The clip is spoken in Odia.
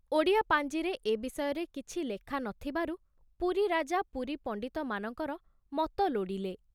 ଓଡ଼ିଆ ପାଂଜିରେ ଏ ବିଷୟରେ କିଛି ଲେଖା ନ ଥିବାରୁ ପୁରୀ ରାଜା ପୁରୀ ପଣ୍ଡିତମାନଙ୍କର ମତ ଲୋଡ଼ିଲେ।